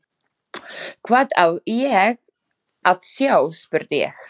Hvað á ég að sjá, spurði ég.